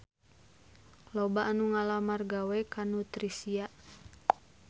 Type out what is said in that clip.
Loba anu ngalamar gawe ka Nutricia